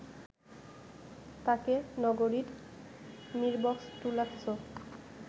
তাকে নগরীর মিরবক্সটুলাস্থ